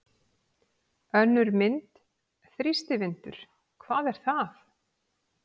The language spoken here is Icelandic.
Önnur mynd: Þrýstivindur- hvað er það?